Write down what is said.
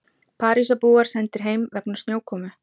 Parísarbúar sendir heim vegna snjókomu